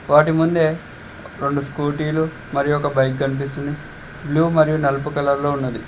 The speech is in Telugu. వాటి ముందు రెండు స్కూటీలు మరియు ఒక బైక్ కనిపిస్తుంది బ్లూ మరియు నలుపు కలర్లో ఉంది.